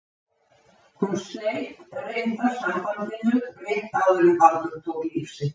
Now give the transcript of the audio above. Hún sleit reyndar sambandinu rétt áður en Baldur tók líf sitt.